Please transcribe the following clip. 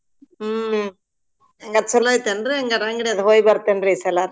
ಹ್ಮ್ ಹಂಗಾರ್ ಚೊಲೋ ಐತೇನ್ರಿ ಅದ್ ಹೋಗಿಬರ್ತೇನ್ರಿ ಈಸಲ.